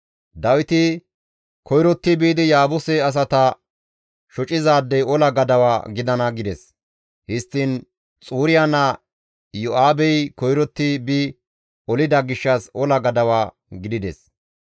Dawiti, «Koyrotti biidi Yaabuse asata shocizaadey ola gadawa gidana» gides; histtiin Xuriya naa Iyo7aabey koyrotti bi olida gishshas ola gadawa gidides.